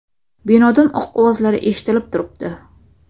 Binodan o‘q ovozlari eshitilib turibdi.